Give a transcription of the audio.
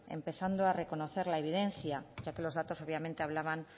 empezando a reconocer la evidencia ya que los datos obviamente hablaban